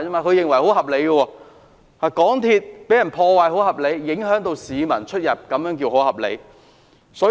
可是，港鐵遭受破壞，影響市民出行，這樣也算合理嗎？